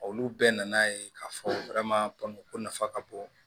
Olu bɛɛ nana ye k'a fɔ ko nafa ka bon